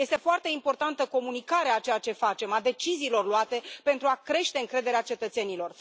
Este foarte importantă comunicarea a ceea ce facem, a deciziilor luate pentru a crește încrederea cetățenilor.